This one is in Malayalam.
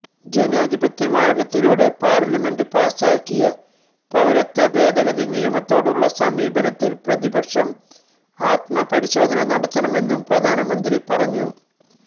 ജനാധിപത്യ മാര്ഗത്തിലൂടെ പാര്ലമെന്റ് പാസാക്കിയ പൌരത്വ ഭേദഗതി നിയമത്തോടുള്ള സമീപനത്തില് പ്രതിപക്ഷം ആത്മപരിശോധന നടത്തണമെന്നു പ്രധാനമന്ത്രി പറഞ്ഞു